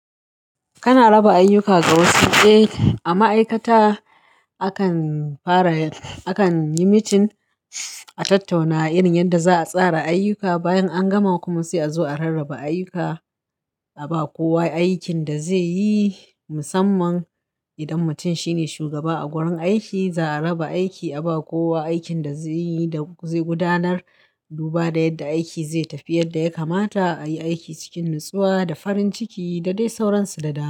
Kana raba ayyuka ga wasu. Eh, a ma'aikata akan fara, akan yi mitin a tattauna irin yadda za a tsara ayyuka bayan an gama kuma sai a zo a rarraba ayyuka, a ba kowa aikin da zai yi. Musamman idan mutum shine shugaba a gurin aiki, za a raba aiki, a ba kowa aikin da zai yi da zai gudanar duba da yadda aiki zai tafi yadda ya kamata, a yi aiki cikin natsuwa da farin ciki da dai sauransu da da.